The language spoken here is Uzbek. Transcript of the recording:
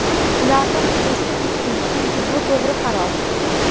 Ularni Quddusga ko‘chiring, chunki bu to‘g‘ri qaror.